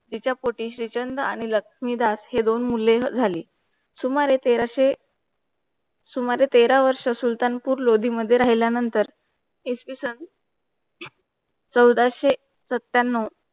तिच्या पोटी श्रीचंद आणि लक्ष्मीदास हे दोन मुले झाली. सुमारे तेराशे सुमारे तेरा वर्ष सुलतानपूर लोधी मध्ये राहिल्यानंतर इसवी सन चौदाशे सत्त्याण्णव